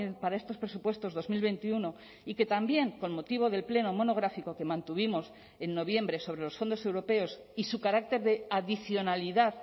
para estos presupuestos dos mil veintiuno y que también con motivo del pleno monográfico que mantuvimos en noviembre sobre los fondos europeos y su carácter de adicionalidad